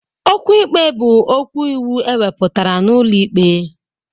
Okwu ikpe bụ okwu iwu ewepụtara n'ụlọ ikpe.